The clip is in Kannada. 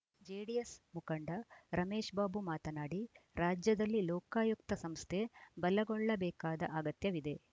ಜೆಡಿಎಸ್‌ ಮುಖಂಡ ರಮೇಶ್‌ ಬಾಬು ಮಾತನಾಡಿ ರಾಜ್ಯದಲ್ಲಿ ಲೋಕಾಯುಕ್ತ ಸಂಸ್ಥೆ ಬಲಗೊಳ್ಳಬೇಕಾದ ಅಗತ್ಯವಿದೆ